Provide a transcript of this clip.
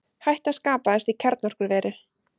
Hætta skapaðist í kjarnorkuveri